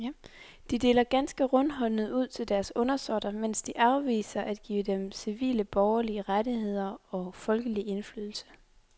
De deler ganske rundhåndet ud til deres undersåtter, mens de afviser at give dem civile borgerlige rettigheder og folkelig indflydelse.